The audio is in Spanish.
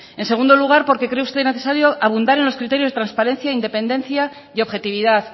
en segundo lugar porque cree usted necesario abundar en los criterios transparencia independencia y objetividad